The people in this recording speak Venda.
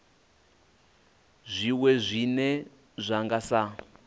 zwiwe zwine zwa nga sa